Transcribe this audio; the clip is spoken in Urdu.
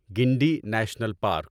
Guindy national park